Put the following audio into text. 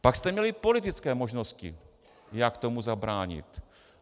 Pak jste měli politické možnosti, jak tomu zabránit.